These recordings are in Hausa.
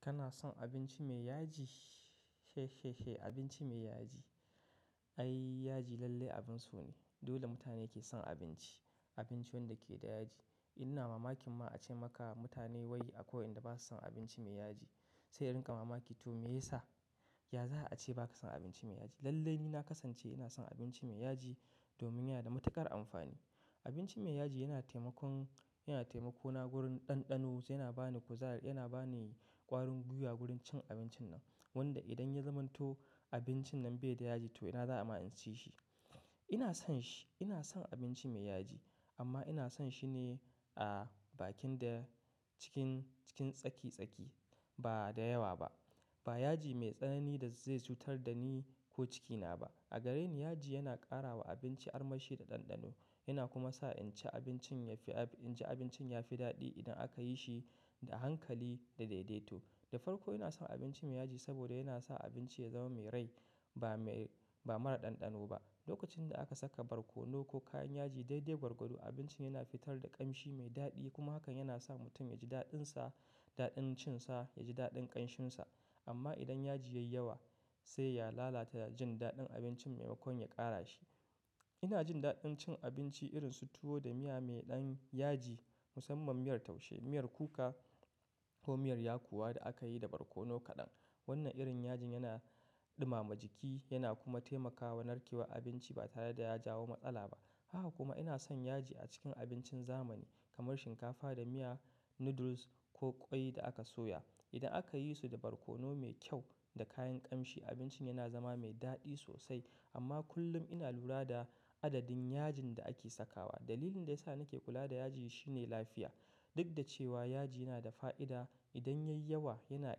Kana son abinci mai yaji? Abinci mai yaji, ai yaji lallai abin so ne. Dole mutane ke son abinci, abinci wanda ke da yaji. Ina mamakin ma ace maka mutane wai akwai wayanda ba su son abinci mai yaji, sai in rinka mamaki toh meyasa? Ya za a ce ba ka son abinci mai yaji? Lallai ni na kasance ina son abinci mai yaji domin yana da matuƙar amfani. Abinci mai yaji yana taimakon-- yana taimako na wurin ɗanɗano, yana ba ni kuzari, yana ba ni ƙwarin gwiwa wurin cin abincin nan, wanda idan ya zamanto abincin nan bai da yaji to ina za'a ma iya cin shi. Ina son shi, ina son abinci mai yaji amma ina son shi ne a bakin da cikin, cikin tsaki tsaki, ba da yawa ba. Ba yaji mai tsanani da zai cutar da ni ko cikina ba. A gareni yaji yana ƙara wa abinci armashi da ɗanɗano. Yana kuma sa in ci abincin yafi ab-- in ci abincin yafi daɗi idan aka yi shi da hankali da daidaito. Da farko ina son abinci mai yaji saboda yana sa abinci ya zama mai rai ba mai-- ba mara ɗanɗano ba. Lokacin da aka saka barkono ko kayan yaji daidai gwargwado, abincin yana fitar da ƙamshi mai daɗi kuma hakan yana sa mutum ya ji daɗinsa, daɗin cin sa, ya ji daɗin ƙanshinsa. Amma idan yaji ya yi yawa sai ya lalata jin daɗin abincin maimakon ya ƙara shi. Ina jin daɗin cin abinci irin su tuwo da miya mai ɗan yaji, musamman miyar taushe, miyar kuka ko miyar yakuwa da aka yi da barkono kaɗan. Wannan irin yajin yana ɗumama jiki yana kuma taimakawa narkewar abinci ba tare da ya jawo matsala ba. Haka kuma ina son yaji a cikin abincin zamani kamar shinkafa da miya, noodles ko ƙwai da aka soya. Idan aka yi su da barkono mai kyau da kayan ƙamshi, abincin yana zama mai daɗi sosai. Amma kullum ina lura da adadin yajin da ake sakawa. Dalilin da ya sa nake kula da yaji shine lafiya. Duk da cewa yaji yana da fa'ida, idan ya yi yawa yana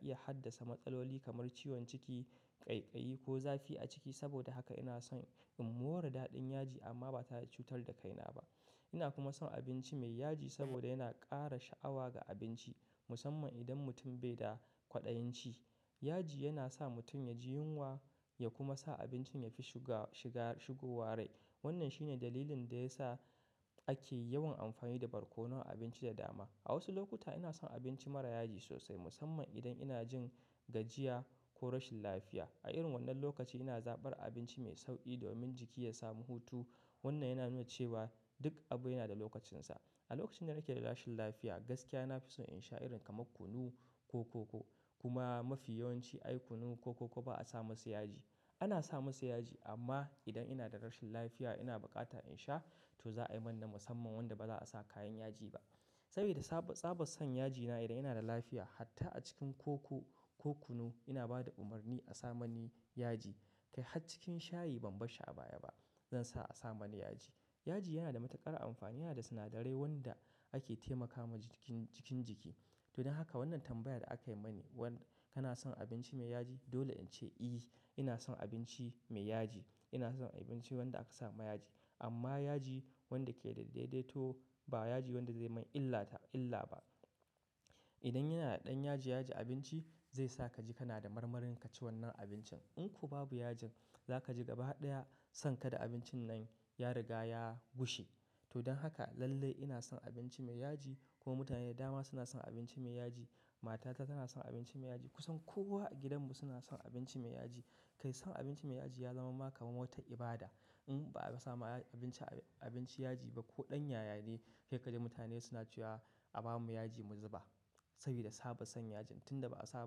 iya haddasa matsaloli kamar ciwon ciki, ƙaiƙayi ko zafi a ciki. Saboda haka ina son in more daɗin yaji amma ba tare da cutar da kaina ba. Ina kuma son abinci mai yaji saboda yana ƙara sha'awa ga abinci, musamman idan mutum bai da kwaɗayin ci. Yaji yana sa mutum ya ji yunwa ya kuma sa abincin ya fi shuga-shiga, shigowa rai. Wannan shine dalilin da ya sa ake yawan amfani da barkono a abinci da dama. A wasu lokuta ina son abinci mara yaji sosai, musamman idan ina jin gajiya ko rashin lafiya. A irin wannan lokaci ina zaɓar abinci mai sauƙi domin jiki ya samu hutu. Wannan yana nuna cewa duk abu yana da lokacinsa. A lokacin da nake da rashin lafiya, gaskiya na fi son in sha irin kamar kunu ko koko. Kuma mafi yawanci ai kunu ko koko ba a sa masa yaji. Ana sa masa yaji amma idan ina da rashin lafiya ina bukata in sha, toh za a yi mun na musamman wanda ba za a sa kayan yaji ba. Saboda saba, tsaban son yajina idan ina da lafiya, hatta a cikin koko ko kunu ina ba da umarni a sa mani yaji. Kai hat cikin shayi ban bar shi abaya ba. Zan sa a sa mani yaji. Yaji yana da matuƙar amfani, yana da sinadarai wanda ake taimaka ma jikin, cikin jiki. Toh don haka wannan tambayar da aka yi mani wanda kana son abinci mai yaji dole in ce, "I." Ina son abinci mai yaji. Ina son abinci wanda aka sa ma yaji. Amma yaji wanda ke da daidaito ba yaji wanda zai man illata illa ba. Idan yana da ɗan yaji, yaji abinci zai sa ka ji kana da marmarin ka ci wannan abincin. In ko babu yajin za ka ji gaba ɗaya sankada abincin nan ya riga ya gushe. To don haka lallai ina son abinci mai yaji kuma mutane da dama suna son abinci mai yaji. Matata tana son abinci mai yaji. Kusan kowa a gidanmu suna son abinci mai yaji. Kai son abinci mai yaji ya zama maka kamar wata ibada. In ba sa ma abinci, abinci yaji ba ko ɗan yayane sai ka ji mutane suna cewa a ba mu yaji mu zuba saboda saba son yajin. Tun da ba a sa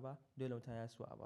ba dole mutane suna so a ba.